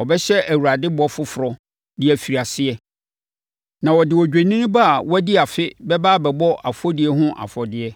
Ɔbɛhyɛ Awurade bɔ foforɔ de afiri aseɛ, na ɔde odwennini ba a wadi afe bɛba abɛbɔ ɛfɔdie ho afɔdeɛ.